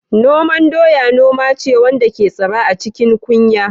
Noman doya noma ce wanda ke tsira a cikin kunya.